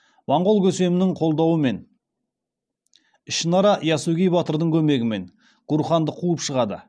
монғол көсемінің қолдауымен ішінара ясугей батырдың көмегімен гурханды қуып шығады